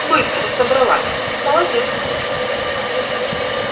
быстро собралась молодец